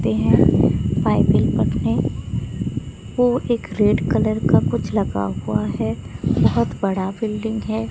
ते है बाइबिल पढ़ने को एक रेड कलर का कुछ लगा हुआ है बहोत बड़ा बिल्डिंग है।